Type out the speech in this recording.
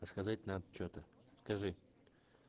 а сказать надо что-то скажи